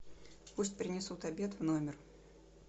пусть принесут обед в номер